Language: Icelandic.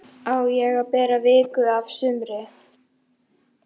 Á að bera viku af sumri.